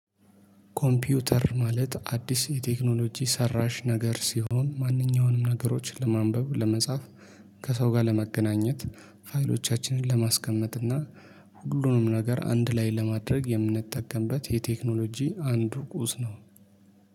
ኮምፒውተር ማለት አዲስ የቴክኖሎጂ ሰራሽ ነገር ሲሆን ማንኛውንም ነገሮችን ለማንበብ ለመጻፍ ከሰው ጋር ለመገናኘት ፋይሎቻችንን ለማስቀመጥ እና ሁሉንም ነገር አንድ ላይ ለማድረግ የምንጠቀምበት የቴክኖሎጂ አንድ ርቁስ ነው።